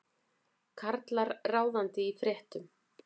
Karlar ráðandi í fréttum